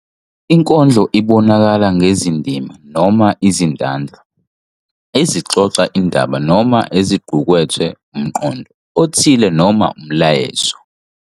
Inkondlo ibonakala ngezindima noma izitanza ezixoxa indaba noma eziqukethe umqondo othile noma umyalezo.